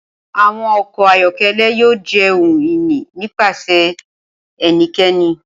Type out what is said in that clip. Awọn ọkọ ayọkẹlẹ yoo jẹ ohun ini nipasẹ ẹnikẹni.